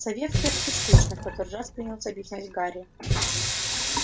сове в клетке скучно в который раз принялся объяснять гарри